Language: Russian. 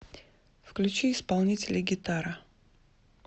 включи исполнителя гитара